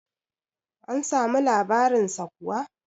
an samu labarinsa kuwa?